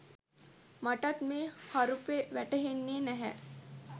මටත් මේ හරුපෙ වැටහෙන්නෙ නැහැ